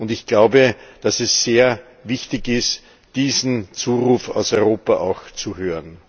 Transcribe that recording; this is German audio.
Ich glaube, dass es sehr wichtig ist, diesen Zuruf aus Europa auch zu hören.